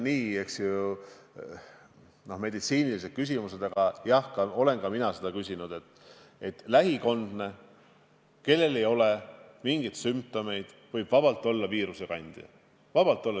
Need on meditsiinilised küsimused, aga jah, ka mina olen seda küsinud, et kas lähikondne, kellel ei ole mingeid sümptomeid, võib olla viirusekandja.